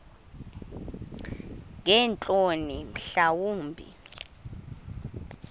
ngeentloni mhla wumbi